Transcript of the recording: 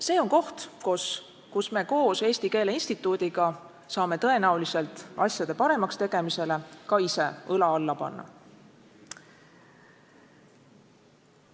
See on koht, kus me koos Eesti Keele Instituudiga saame tõenäoliselt asjade paremaks tegemiseks ka ise õla alla panna.